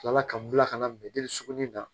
Tila ka n bila ka na bi deli sugunɛ na